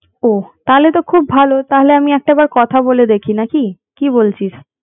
ওহ তাহলে তো খুব ভালো তাহলে আমি একটা বার কথা বলে দেখি নাকি কি বলিস